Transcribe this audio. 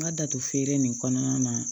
N ka datugu feere in kɔnɔna na